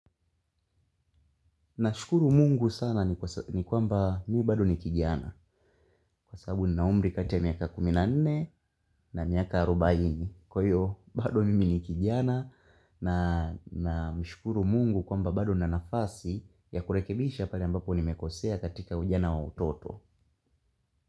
Na shukuru mungu sana ni kwamba mi bado ni kijiana. Kwasabu ni naumri kati ya miaka kumi na nne na miaka arobaini. Kwa hiyo bado mimi ni kijiana na mshukuru mungu kwamba bado na nafasi ya kurekebisha pale ambapo ni mekosea katika ujana wa utoto.